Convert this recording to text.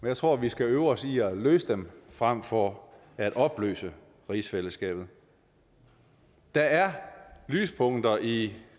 jeg tror vi skal øve os i at løse dem frem for at opløse rigsfællesskabet der er lyspunkter i